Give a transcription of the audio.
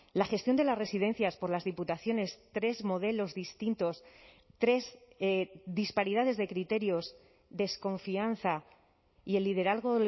la gestión de las residencias por las diputaciones tres modelos distintos tres disparidades de criterios desconfianza y el liderazgo